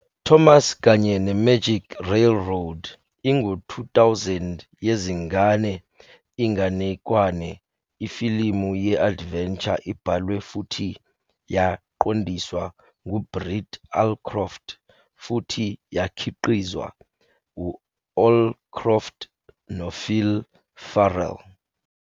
Thomas kanye ne-Magic Railroad ingu-2000 yezingane inganekwane ifilimu ye-adventure ebhalwe futhi yaqondiswa ngu-Britt Allcroft futhi yakhiqizwa u-Allcroft no-Phil Fehrle.